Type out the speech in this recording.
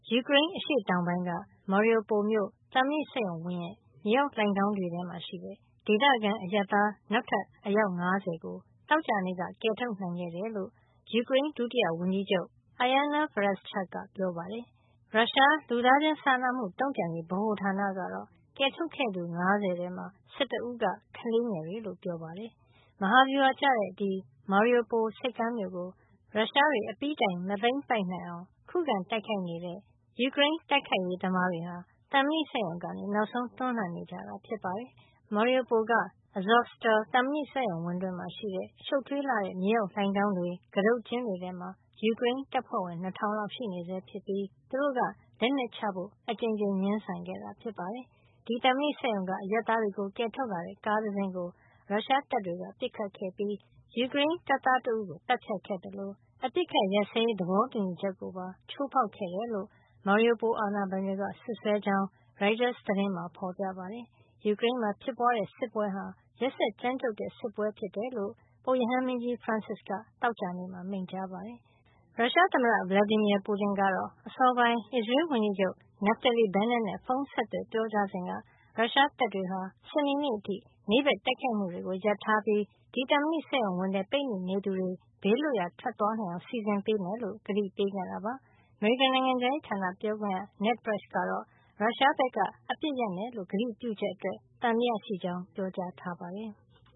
ယူကရိန်းအရှေ့တောင်ပိုင်းက ရုရှားတပ်သားတွေ ဝိုင်းထားတဲ့ Mariupol မြို့က သံမဏိစက်ရုံဝင်းရဲ့ မြေအောက်လှိုဏ်ခေါင်းတွေထဲမှာ ရှိတဲ့ ဒေသခံအရပ်သား နောက်ထပ် အယောက် ၅၀ ကို သောကြာနေ့က ကယ်ထုတ်နိုင်ခဲ့တယ်လို့ ယူကရိန်းဒုတိယဝန်ကြီးချုပ် Iryna Vereshchuk က ပြောပါတယ်။ ရုရှား လူသားချင်းစာနာမှုတုန့်ပြန်ရေးဗဟိုဌာန ကတော့ ကယ်ထုတ်ခဲ့သူ ၅၀ ထဲမှာ ၁၁ ဦးက ကလေးငယ်တွေ ဖြစ်ကြောင်း ပြောပါတယ်။ မဟာဗျူဟာကျတဲ့ Mariupol ဆိပ်ကမ်းမြို့ကို ရုရှားတွေ အပြီးတိုင်မသိမ်းပိုက်နိုင်အောင် ခုခံတိုက်ခိုက်နေတဲ့ ယူကရိန်း တိုက်ခိုက်ရေးသမား တွေဟာ သံမဏိစက်ရုံကနေ နောက်ဆုံးတွန်းလှန်နေကြတာ ဖြစ်ပါတယ်။ Mariupol က Azovstal သံမဏိစက်ရုံးဝင်းမှာရှိတဲ့ ရှုပ်ထွေးလှတဲ့ မြေအောက်လှိုဏ်ခေါင်းတွေ ကတုတ်ကျင်းတွေ မှာ ယူကရိန်းတပ်ဖွဲ့ဝင် ၂၀၀၀ လောက်ရှိနေဆဲ ဖြစ်ပြီး သူတို့က လက်နက်ချဖို့ အကြိမ်ကြိမ်ငြင်းဆန်ခဲ့တာ ဖြစ်ပါတယ်။ ဒီသံမဏိစက်ရုံက အရပ်သားတွေကို ကယ်ထုတ်လာတဲ့ ကားတစင်းကို ရုရှားတပ်တွေက ပစ်ခတ်ခဲ့ပြီး ယူကရိန်းတပ်သား တဦးကို သတ်ဖြတ်ခဲ့သလို အပစ်အခတ်ရပ်စဲရေး သဘောတူညီချက်ကိုပါ ချိုးဖေါက်ခဲ့တယ်လို့ Mariupol အာဏာပိုင်တွေက စွပ်စွဲကြောင်း ရိုက်တာ သတင်းမှာ ဖေါ်ပြပါတယ်။ ယူကရိန်းမှာ ဖြစ်ပွားနေတဲ့စစ်ပွဲဟာ ရက်စက်ကြမ်းကြုတ်တဲ့ စစ်ပွဲ ဖြစ်ကြောင်း ပုပ်ရဟန်းမင်းကြီး ဖရန်စစ်က သောကြာနေ့က မိန့်ကြားခဲ့ပါတယ်။ ရုရှားသမ္မတ Vladimir Putin ကတော့ အစောပိုင်း အစ္စရေးဝန်ကြီးချုပ် Naftali Bennett နဲ့ ဖုံးဆက်သွယ် ပြောကြားစဉ်က ရုရှားတပ်တွေဟာ စနေနေ့အထိ နေ့ဘက် တိုက်ခိုက်မှုတွေ ရပ်ထားပြီး ဒီ သံမဏိစက်ရုံဝင်းထဲ ပိတ်မိနေသူတွေ ဘေးလွတ်ရာ ထွက်ခွာနိုင်အောင် စီစဉ်ပေးမှာဖြစ်ကြောင်း ကတိပေးခဲ့တာပါ။ အမေရိကန် နိုင်ငံခြားရေးဌာန ပြောခွင့်ရ Ned Price ကတော့ ရုရှားဘက်က အပစ်အခတ်ရပ်မယ်လို့ ကတိပြုချက်အတွက် သံသယရှိကြောင်း ပြောကြားထားပါတယ်။